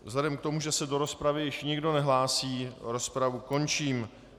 Vzhledem k tomu, že se do rozpravy již nikdo nehlásí, rozpravu končím.